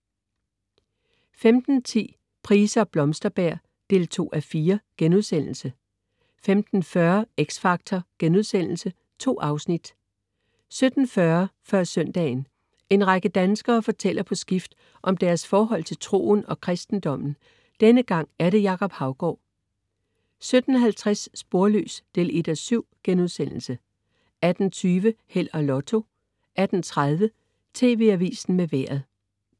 15.10 Price og Blomsterberg 2:4* 15.40 X Factor.* 2 afsnit 17.40 Før søndagen. En række danskere fortæller på skift om deres forhold til troen og kristendommen. Denne gang er det Jacob Haugaard 17.50 Sporløs 1:7* 18.20 Held og Lotto 18.30 TV Avisen med Vejret